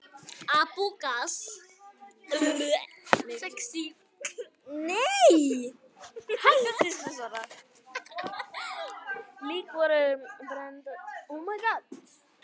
Lík voru brennd eða grafin.